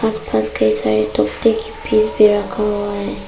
आस पास कई सारे तख्ते के पेज भी रखा हुआ है।